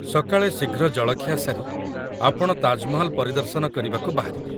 ସକାଳେ ଶୀଘ୍ର ଜଳଖିଆ ସାରି, ଆପଣ ତାଜମହଲ ପରିଦର୍ଶନ କରିବାକୁ ବାହାରିବେ।